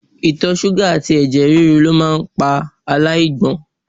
Itọ ṣuga ati ẹ̀jẹ̀ ríru lo maa pa alaigbon